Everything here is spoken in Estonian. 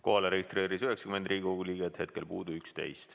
Kohalolijaks registreerus 90 Riigikogu liiget, hetkel puudub 11.